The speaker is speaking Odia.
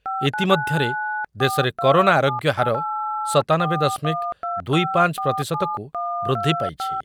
ଇତିମଧ୍ୟରେ ଦେଶରେ କରୋନା ଆରୋଗ୍ୟହାର ସତାନବେ ଦଶମିକ ଦୁଇ ପାଞ୍ଚ ପ୍ରତିଶତକୁ ବୃଦ୍ଧିପାଇଛି।